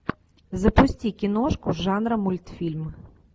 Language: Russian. запусти киношку жанра мультфильм